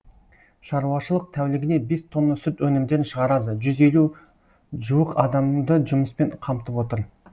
шаруашылық тәулігіне бес тонна сүт өнімдерін шығарады жүз елу жуық адамды жұмыспен қамтып отыр